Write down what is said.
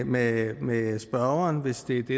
med med spørgeren hvis det er det